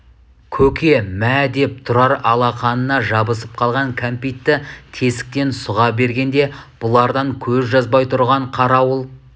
көке мә деп тұрар алақанына жабысып қалған кәмпитті тесіктен сұға бергенде бұлардан көз жазбай тұрған қарауыл